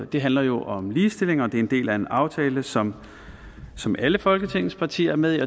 det handler jo om ligestilling det er en del af en aftale som som alle folketingets partier er med i